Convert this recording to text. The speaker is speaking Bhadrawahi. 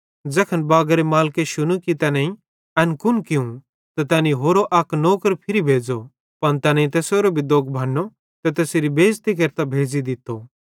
ज़ैखन बागारे मालिके शुनू कि तैनेईं एन कुन कियूं त तैनी होरो अक नौकर फिरी भेज़ो पन तैनेईं तैसेरो भी दोग बन्नो ते तैसेरी बेज़ती केरतां भेज़ी दित्तो